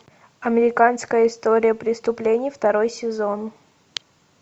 американская история преступлений второй сезон